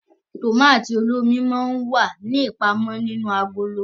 Tomati olómi mọ n wá ní ipamọ nínú agolo